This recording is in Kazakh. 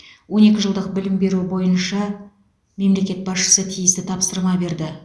он екі жылдық білім беру бойынша мемлекет басшысы тиісті тапсырма берді